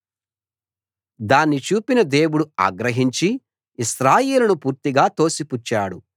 దాన్ని చూసిన దేవుడు ఆగ్రహించి ఇశ్రాయేలును పూర్తిగా తోసిపుచ్చాడు